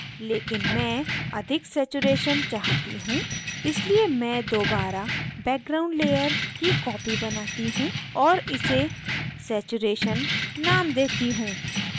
लेकिन मैं अधिक saturation चाहती हूँ इसलिए मैं दोबारा background layer की copy बनाती हूँ और इसे saturation name देती हूँ